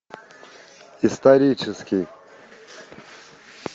исторический